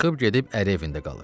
Çıxıb gedib əri evində qalır.